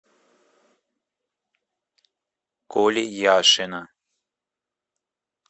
коли яшина